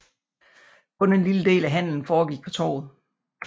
Kun en lille del af handelen foregik på Torvet